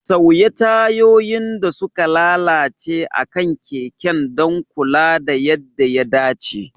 Sauya tayoyin da suka lalace akan keken don kula da yadda ya dace.